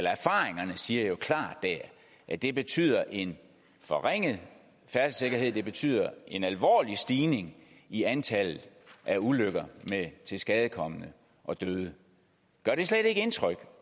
siger jo klart at det betyder en forringet færdselssikkerhed at det betyder en alvorlig stigning i antallet af ulykker med tilskadekomne og døde gør det slet ikke indtryk